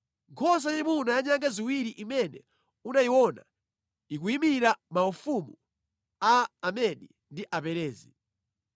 Nkhosa yayimuna ya nyanga ziwiri imene unayiona, ikuyimira mafumu a Amedi ndi Aperezi.